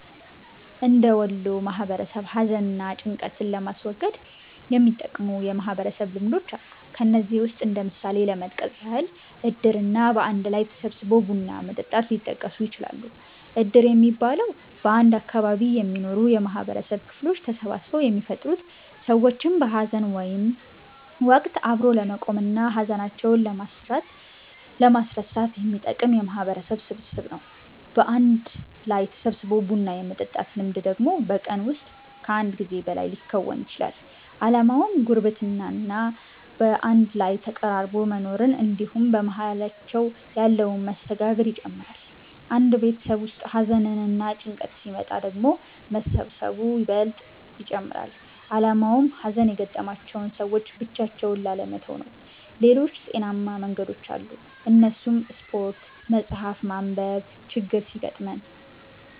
እንደ ወሎ ማህበረሰብ ሀዘን እና ጭንቀትን ለማስወገድ የሚጠቅሙ የማህበረሰብ ልምዶች አሉ። ከነዚህም ውስጥ እንደ ምሳሌ ለመጥቀስ ያህል እድር እና በአንድ ላይ ተሰባስቦ ቡና መጠጣት ሊጠቀሱ ይችላሉ። እድር የሚባለው፤ በአንድ አካባቢ የሚኖሩ የማህበረሰብ ክፍሎች ተሰባስበው የሚፈጥሩት ሰዎችን በሀዘን ወቀት አብሮ ለመቆም እና ሀዘናቸውን ለማስረሳት የሚጠቅም የማህበረሰብ ስብስብ ነው። በአንድ ላይ ተሰባስቦ ቡና የመጠጣት ልምድ ደግሞ በቀን ውስጥ ከአንድ ጊዜ በላይ ሊከወን ይችላል። አላማውም ጉርብትና እና በአንድ ላይ ተቀራርቦ መኖርን እንድሁም በመሃላቸው ያለን መስተጋብር ይጨምራል። አንድ ቤተሰብ ውስጥ ሀዘንና ጭንቀት ሲመጣ ደግሞ መሰባሰቡ ይበልጥ ይጨመራል አላማውም ሀዘን የገጠማቸውን ሰዎች ብቻቸውን ላለመተው ነው። ሌሎችም ጤናማ መንገዶች አሉ እነሱም ስፓርት፣ መፀሀፍ ማንብ፤ ችግር ሲገጥመን